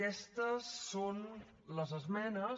aquestes són les esmenes